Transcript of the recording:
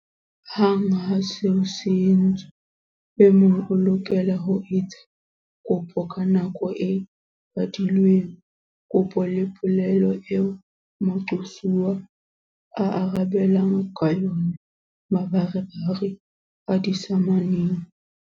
"Hang ha seo se entswe, e mong o lokela ho etsa kopo ka nako e badilweng. Kopo ke polelo eo moqosuwa aarabelang ka yona mabarebare a disamane."